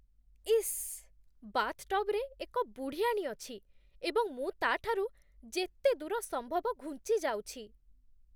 ଇସ୍, ବାଥ୍‌ଟବ୍‌ରେ ଏକ ବୁଢ଼ିଆଣୀ ଅଛି ଏବଂ ମୁଁ ତା'ଠାରୁ ଯେତେ ଦୂର ସମ୍ଭବ ଘୁଞ୍ଚିଯାଉଛି।